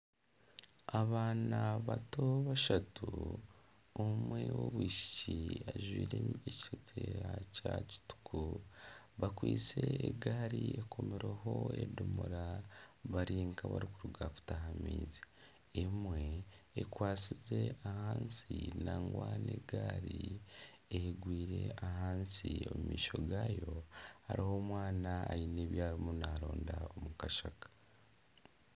Abaana bato bashatu omwe owobwishiki ajwaire ekiteteeya kya kituku bakwaitse egaari ekomirweho edomora bari nkabarikuruga kutaha amaizi emwe ekwatsize ahansi nangwa nana egaari egwiire ahansi omumaisho gaayo hariho omwana aine ebyariyo naronda omukashaka